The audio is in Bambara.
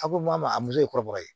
A ko ma muso ye kɔrɔbɔrɔ ye